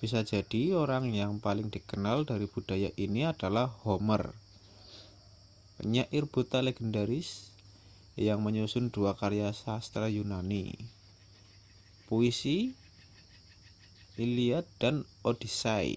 bisa jadi orang yang paling dikenal dari budaya ini adalah homer penyair buta legendaris yang menyusun dua karya sastra yunani puisi iliad dan odyssey